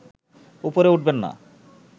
উপরে উঠবেন না